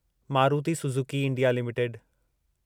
Maruti Suzuki India limited